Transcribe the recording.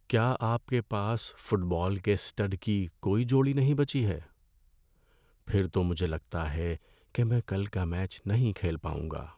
کیا آپ کے پاس فٹ بال کے اسٹڈ کی کوئی جوڑی نہیں بچی ہے؟ پھر تو مجھے لگتا ہے کہ میں کل کا میچ نہیں کھیل پاؤں گا۔